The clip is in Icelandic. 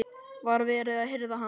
Var verið að hirða hann?